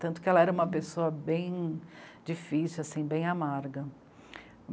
Tanto que ela era uma pessoa bem difícil assim, bem amarga.